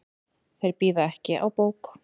Þeir bíða ekki á bók.